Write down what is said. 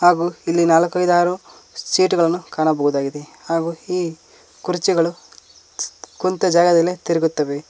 ಹಾಗು ಇಲ್ಲಿ ನಾಲಕ್ಕ್ ಐದಾರು ಸೀಟ್ ಗಳನ್ನು ಕಾಣಬಹುದಾಗಿದೆ ಹಾಗು ಈ ಕುರ್ಚಿಗಳು ಕುಂತ ಜಾಗದಲ್ಲೇ ತಿರುಗುತ್ತವೆ.